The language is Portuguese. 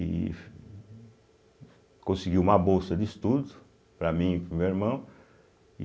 E conseguiu uma bolsa de estudos para mim e para o meu irmão.